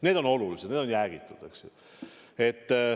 Need on olulised, need on jäägitud.